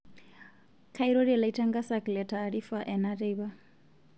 Kairorie laitangasak lee taarifa ena teipa